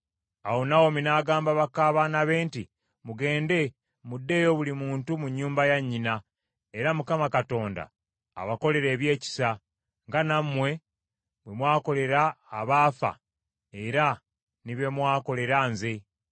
Awo Nawomi n’agamba baka baana be nti, “Mugende muddeeyo buli muntu mu nnyumba ya nnyina , era Mukama Katonda abakolere ebyekisa, nga nammwe bwe mwakolera abaafa era ne bye mwakolera nze.